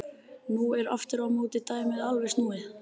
Nú er aftur á móti dæmið alveg snúið við.